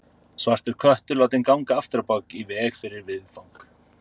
Svartur köttur látinn ganga afturábak í veg fyrir viðfang.